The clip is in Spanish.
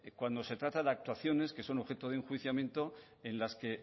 cuando se trata de actuaciones que son objeto de enjuiciamiento en las que